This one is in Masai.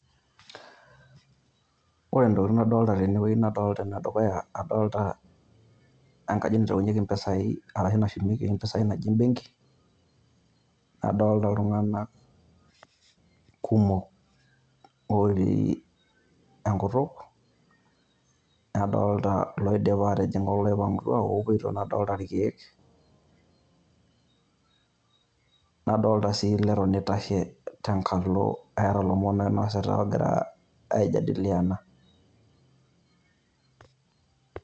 Ore entokitin' nadolita tene wueji nadolita ene dukuya engaji nashumieki arashu naitaunyieki empisai naji ebenki, nadolita iltung'anak kumok otii enkutuk, nadolita iloidipa aatijing' oloipang'utua, nadolita irkiek. Nadolita sii leton eitashe oota ilomon loinasita leton egira aijadiliana.